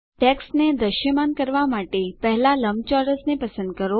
ટેક્સ્ટને દૃશ્યમાન કરવાં માટે પહેલાં લંબચોરસને પસંદ કરો